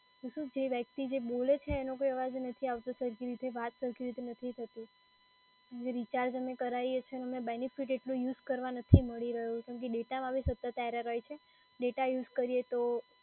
કે શું જે વ્યક્તિ જે બોલે છે એનો કોઈ અવાજ નથી આવતો, સરખી રીતે વાત નથી થતી. રિચાર્જ અમે જે કરાઈએ છે એનો બેનીફીટ એટલો અમને યુઝ કરવા નથી મળી રહ્યો કેમ કે ડેટામાં બી સતત એરર હોય છે. ડેટા યુઝ કરી તો